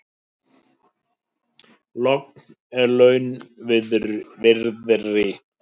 Logn er launviðri.